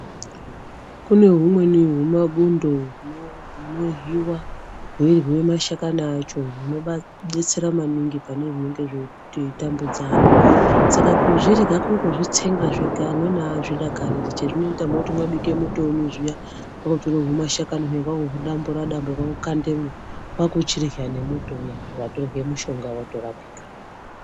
Kune humweni humabundo huryiwa hweiryiwe msahakani acho hunodetsera maningi pane zvinenge zveitambudza antu. Saka kuzvirya kungozvtsenga zvega amweni aazvidakariri chazvinoita munoti mwabike muto wenyu zviya kwakutore humashakani huya kwakuhudambura dambura kwakukandemo kwakuchirya nemuto uya watorye mushonga warapika.